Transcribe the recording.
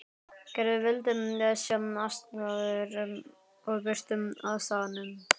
Gerður vildi sjá aðstæður og birtu á staðnum.